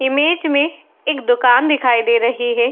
Image में एक दुकान दिखाई दे रही है।